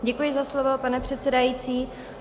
Děkuji za slovo, pane předsedající.